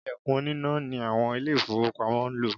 Ìlẹ̀kùn oníná ni àwọn Ilé-ìfowópamọ́ ń lò